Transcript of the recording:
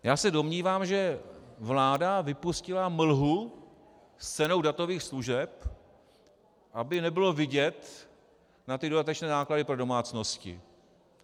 Já se domnívám, že vláda vypustila mlhu s cenou datových služeb, aby nebylo vidět na ty dodatečné náklady pro domácnosti.